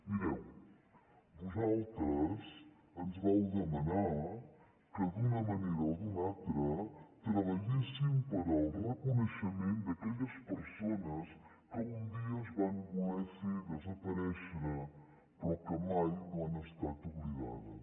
mireu vosaltres ens vau demanar que d’una manera o d’una altra treballéssim per al reconeixement d’aquelles persones que un dia es van voler fer desaparèixer però que mai no han estat oblidades